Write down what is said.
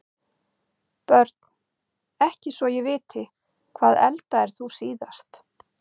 Börn: ekki svo ég viti Hvað eldaðir þú síðast?